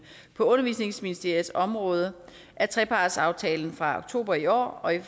på undervisningsministeriets område af trepartsaftalen fra oktober i år og i